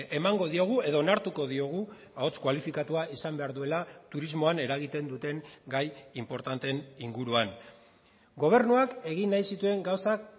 emango diogu edo onartuko diogu ahots kualifikatua izan behar duela turismoan eragiten duten gai inportanteen inguruan gobernuak egin nahi zituen gauzak